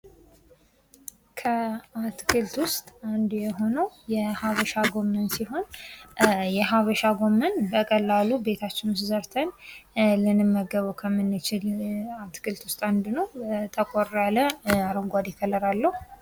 ከአትክልት ዉስጥ አንዱ የሆነዉ የሀበሻ ጎመን ሲሆን የሀበሻ ጎመን በቀላሉ ቤታችን ዉስጥ ዘርተን ልንመገበዉ ከምንችል አትክልቶች ዉስጥ አንዱ ነዉ። ጠቆያ ያለ አረንጓዴ ከለር አለዉ።